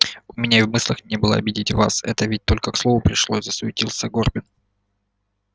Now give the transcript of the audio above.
у меня и в мыслях не было обидеть вас это ведь только к слову пришлось засуетился горбин